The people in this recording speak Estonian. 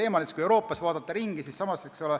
Vaatame Euroopas ringi.